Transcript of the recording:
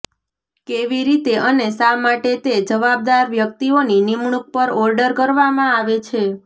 કેવી રીતે અને શા માટે તે જવાબદાર વ્યક્તિઓની નિમણૂક પર ઓર્ડર કરવામાં આવે છે